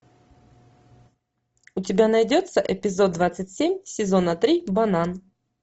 у тебя найдется эпизод двадцать семь сезона три банан